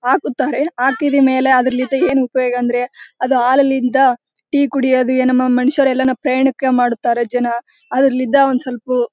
ಹಾಕುತ್ತಾರೆ ಹಾಕಿದ ಮೇಲೆ ಅದ್ರಲಿದ ಏನ್ ಉಪಯೋಗ ಅಂದ್ರೆ ಅದು ಹಾಲಲಿಂದ ಟೀ ಕುಡಿಯೋದು ಏನ್ ಮನುಷ್ಯರು ಎಲ್ಲನಕ್ಕೆ ಪ್ರಯಾಣಕ್ಕೆ ಮಾಡುತ್ತಾರೆ ಜನ ಅದ್ರಲಿದ್ದ ಸ್ವಲಪು --